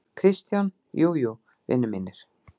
KRISTJÁN: Jú, jú, vinir mínir!